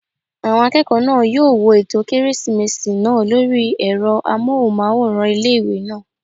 Àwọn akẹ́kọ̀ọ́ náà yóò wo ètò kérésìmesì náà lórí ẹ̀rọ amóhùnmáwòrán ilé-ìwé náà